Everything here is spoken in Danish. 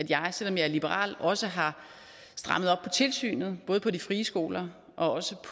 jeg selv om jeg er liberal også har strammet op på tilsynet både på de frie skoler og